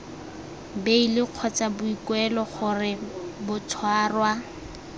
beili kgotsa boikuelo gore batshwarwa